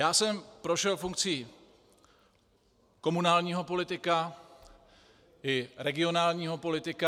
Já jsem prošel funkcí komunálního politika i regionálního politika.